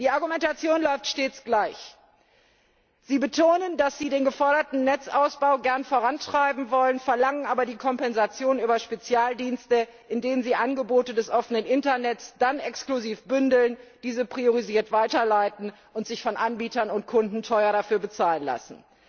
Die Argumentation läuft stets gleich Sie betonen, dass sie den geforderten Netzausbau gern vorantreiben wollen, verlangen aber die Kompensation über Spezialdienste, in denen sie Angebote des offenen Internets dann exklusiv bündeln, diese priorisiert weiterleiten und sich von Anbietern und Kunden teuer bezahlen lassen.